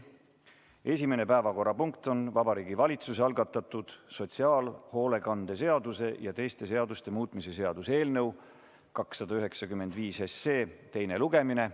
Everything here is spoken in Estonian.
Esimene päevakorrapunkt on Vabariigi Valitsuse algatatud sotsiaalhoolekande seaduse ja teiste seaduste muutmise seaduse eelnõu 295 teine lugemine.